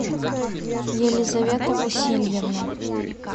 елизавета васильевна